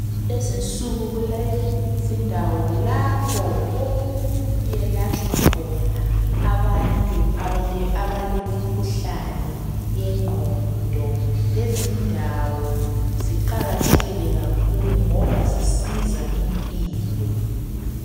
Lezinsuku kulezindawo lapho okuyelatshwa khona abantu abalemikhuhlane yengqondo. Lezindawo ziqakathekile kakhulu ngoba zisiza impilo.